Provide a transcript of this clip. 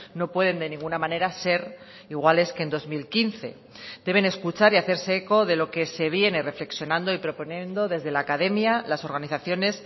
no pueden de ninguna manera ser iguales que en dos mil quince deben escuchar y hacerse eco de lo que se viene reflexionando y proponiendo desde la academia las organizaciones